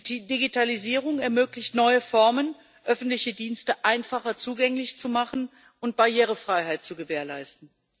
Die Digitalisierung ermöglicht, neue Formen öffentlicher Dienste einfacher zugänglich zu machen und Barrierefreiheit zu gewährleisten.